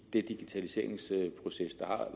digitaliseringsproces der er